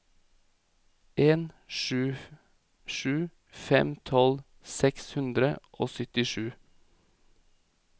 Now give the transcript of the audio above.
en sju sju fem tolv seks hundre og syttisju